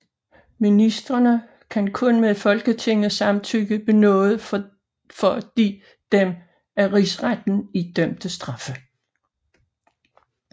Ministrene kan kun med Folketingets samtykke benåde for de dem af rigsretten idømte straffe